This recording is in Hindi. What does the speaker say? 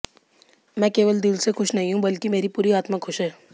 मैं केवल दिल से खुश नहीं हूं बल्कि मेरी पूरी आत्मा खुश है